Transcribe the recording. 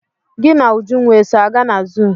Gị na Ujunwa eso aga na zuu?